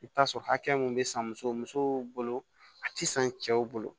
I bɛ t'a sɔrɔ hakɛ mun bɛ san muso musow bolo a tɛ san cɛw bolo